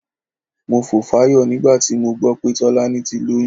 Mo fò fáyọ̀ nígbà tí mo gbọ́ pé Tọ́lání ti lóyún.